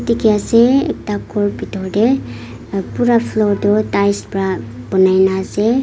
khiase ekta ghor bitor tey uh pura floor tu tiles pra banai na ase.